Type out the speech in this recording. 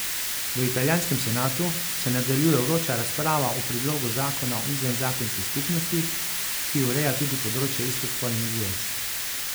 V italijanskem senatu se nadaljuje vroča razprava o predlogu zakona o izvenzakonskih skupnostih, ki ureja tudi področje istospolnih zvez.